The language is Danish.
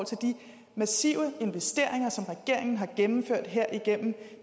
til de massive investeringer som regeringen har gennemført her igennem